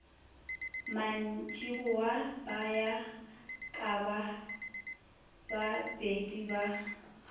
mantšiboa ba ya kabababedi ba